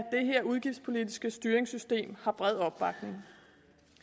udgiftspolitiske styringssystem har bred opbakning